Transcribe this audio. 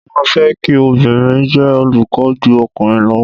Mo máa fẹ́ kí obìnrin jẹ́ olùkọ́ ju ọkùnrin lọ.